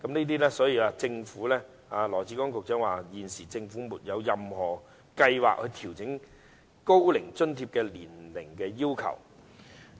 當然，政府現時沒有任何計劃調整高齡津貼的年齡要求。